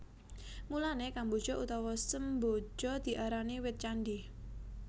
Mulané kemboja utawa semboja diarani wit candhi